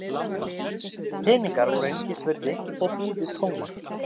Peningar voru einskis virði og búðir tómar.